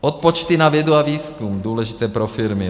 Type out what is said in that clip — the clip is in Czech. Odpočty na vědu a výzkum, důležité pro firmy.